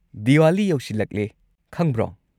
ꯗꯤꯋꯥꯂꯤ ꯌꯧꯁꯤꯜꯂꯛꯑꯦ ꯈꯪꯕ꯭ꯔꯣ?